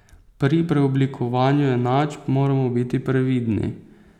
Pri preoblikovanju enačb moramo biti previdni.